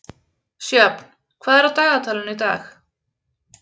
Sjöfn, hvað er á dagatalinu í dag?